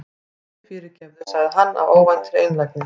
Æ, fyrirgefðu- sagði hann af óvæntri einlægni.